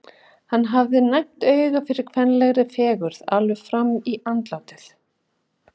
Hann hafði næmt auga fyrir kvenlegri fegurð alveg fram í andlátið!